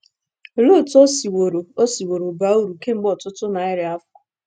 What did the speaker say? Olee otú o siworo o siworo baa uru kemgbe ọtụtụ narị afọ?